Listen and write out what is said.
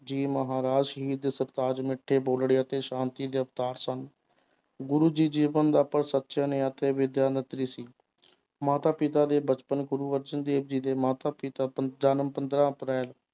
ਜੀ ਮਹਾਰਾਜ ਸ਼ਹੀਦ ਦੇ ਸਰਤਾਜ ਮਿੱਠੇ ਬੋਲੜੇ ਅਤੇ ਸ਼ਾਂਤੀ ਦੇ ਅਵਤਾਰ ਸਨ, ਗੁਰੁ ਜੀ ਜੀਵਨ ਦਾ ਅਤੇ ਵਿਦਿਆ ਸੀ ਮਾਤਾ ਪਿਤਾ ਦੇ ਬਚਪਨ ਗੁਰੂ ਅਰਜਨ ਦੇਵ ਜੀ ਦੇ ਮਾਤਾ ਪਿਤਾ ਪੰ~ ਜਨਮ ਪੰਦਰਾਂ ਅਪ੍ਰੈਲ